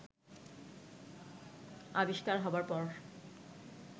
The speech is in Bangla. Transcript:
আবিষ্কার হবার পর